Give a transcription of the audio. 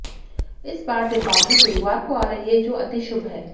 इस बार दीपावली गुरुवार को आ रही है जो अति शुभ है